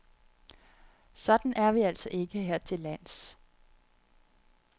Sådan er vi altså ikke her til lands.